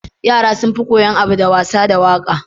Yara sunfi koyan abu da wasa da waƙa